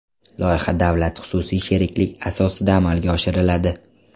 Loyiha davlat-xususiy sheriklik asosida amalga oshiriladi.